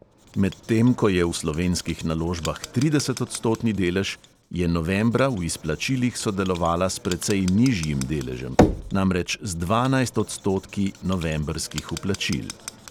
Medtem ko je v slovenskih naložbah tridesetodstotni delež, je novembra v izplačilih sodelovala s precej nižjim deležem, namreč z dvanajst odstotki novembrskih vplačil.